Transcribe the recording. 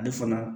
Ale fana